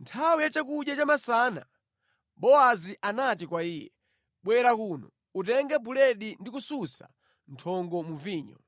Nthawi ya chakudya cha masana Bowazi anati kwa iye, “Bwera kuno, utenge buledi ndi kusunsa nthongo mu vinyo.”